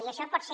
i això pot ser